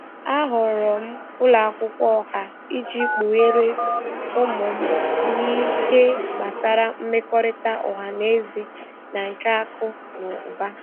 A họọrọ m ụlọ akwụkwọ ọha iji kpugheere ụmụ m n'ihe gbasara mmekọrịta ọha na eze na nke akụ na ụba.